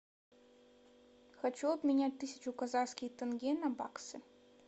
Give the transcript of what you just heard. хочу обменять тысячу казахских тенге на баксы